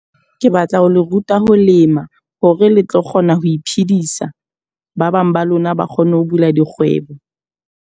Ke batla ho le ruta ho lema, hore le tlo kgona ho iphedisa. Ba bang ba lona ba kgone ho bula dikgwebo.